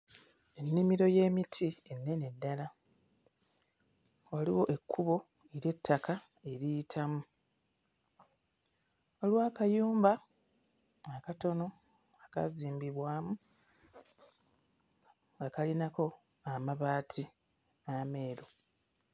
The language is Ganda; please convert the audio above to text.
Ennimiro y'emiti ennene ddala waliwo ekkubo ery'ettaka eriyitamu waliwo akayumba akatono akaazimbibwamu nga kalinako amabaati ameeru.